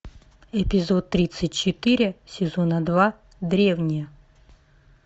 эпизод тридцать четыре сезона два древние